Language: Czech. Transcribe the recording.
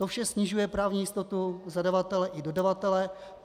To vše snižuje právní jistotu zadavatele i dodavatele.